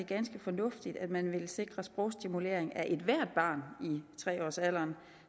ganske fornuftigt at man vil sikre sprogstimulering af ethvert barn i tre års alderen